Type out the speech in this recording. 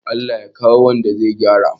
Allah ya kawo wanda zai gyara